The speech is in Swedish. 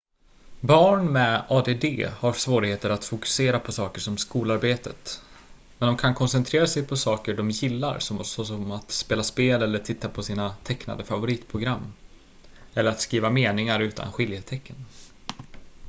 barn med add har svårigheter att fokusera på saker som skolarbetet men de kan koncentrera sig på saker de gillar såsom att spela spel eller titta på sina tecknade favoritprogram eller att skriva meningar utan skiljetecken